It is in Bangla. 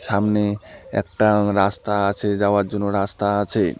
সামনে একটা রাস্তা আছে যাওয়ার জন্য রাস্তা আছে।